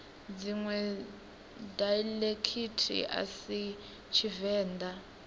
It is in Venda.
dziṅwe daiḽekithi a si tshivenḓa